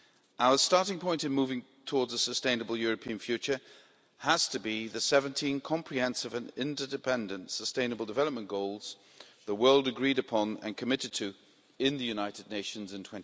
Our starting point in moving towards a sustainable European future has to be the 17 comprehensive and interdependent sustainable development goals the world agreed upon and committed to in the United Nations in